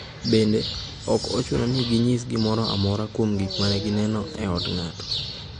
Bende, ok ochuno ni ginyis gimoro amora kuom gik ma ne gineno ka gin e od ng’ato.